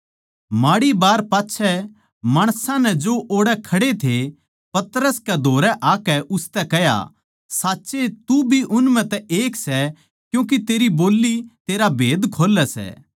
माड़ी बार पाच्छै माणसां नै जो ओड़ै खड़े थे पतरस कै धोरै आकै उसतै कह्या साच्चए तू भी उन म्ह तै एक सै क्यूँके तेरी बोल्ली तेरा भेद खोल्लै सै